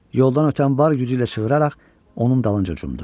Yoldan ötən var gücü ilə çığıraraq onun dalınca cumdu.